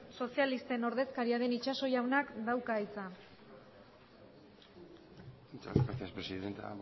sozialisten ordezkaria den itxaso jaunak dauka hitza muchas gracias presidenta